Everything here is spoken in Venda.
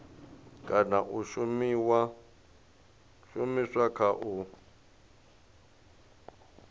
kana ya shumiswa kha u